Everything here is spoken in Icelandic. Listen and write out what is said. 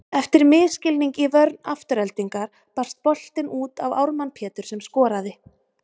Eftir misskilning í vörn Aftureldingar barst boltinn út á Ármann Pétur sem skoraði.